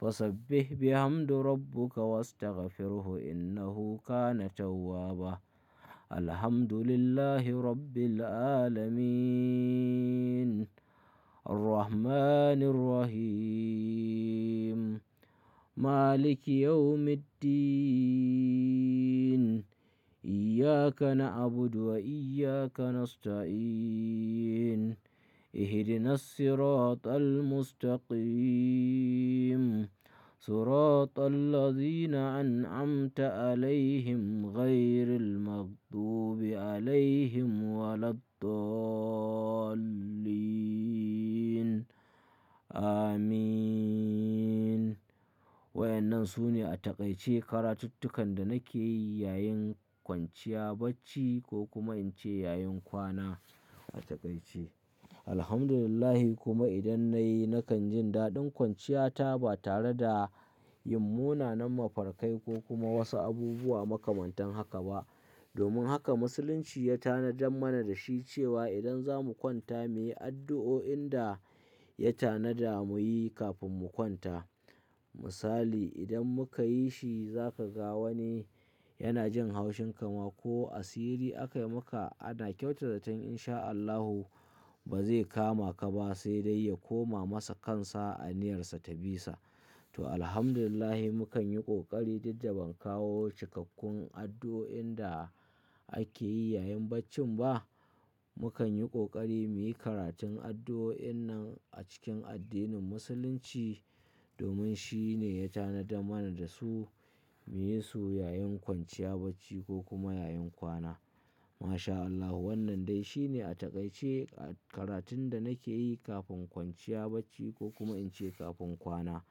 fasabbih bihamdi rabbuka wastaghfirhu innahu kana tawwaba. Alhamdulillahi rabbil 'alamin. Ar-Rahmani r-Rahim. Maliki yawmi d-din. Iyyaka na'budu wa iyyaka nasta'in. Ihdinas-siratal mustaqim. Siratal-ladhina an'amta 'alaihim ghairil-maghdubi 'alaihim wa lad-dallin. Amin. Wa ya nan su ne a takaice karatuttukan da nake yi yayin kwanciya bacci ko kuma in ce yayin kwana a takaice. Alhamdulillah kuma idan na yi, nakan jin daɗin kwanciyata ba tare da yin munanan mafarkai ko kuma wasu abubuwa makamantan haka ba. Domin haka Musulunci ya tanadar mana da shi cewa idan za mu kwanta, mu yi addu'o'in da ya tanada mu yi kafin mu kwanta. Misali, idan muka yi shi zaka ga wani yana jin haushin ka ma ko asiri aka yi maka ana kyautata tan inshaAllahu ba zai kama ka ba sai dai ya koma masa kansa a niyarsa ta bisa. To, alhamdulillah mukan yi ƙoƙari dukda bamu kawo cikkakkun addu'o'in da ake yi yayin baccin ba. Mukan yi ƙoƙari mu yi karatun addu'o'in nan a cikin addinin Musulunci domin shi ne ya tanada mana da su mu yi su yayin kwanciya bacci ko kuma yayin kwana. Ma sha Allahu, wannan dai shi ne a takaice karatun da nake yi kafin kwanciya bacci ko kuma in ce kafin kwana.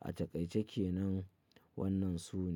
A takaice ke nan wannan su ne.